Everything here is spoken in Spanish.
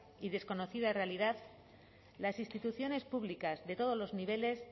y desconocida realidad las instituciones públicas de todos los niveles